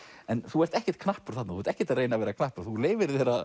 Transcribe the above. en þú ert ekkert knappur þarna þú ert ekkert að reyna að vera knappur þú leyfir þér að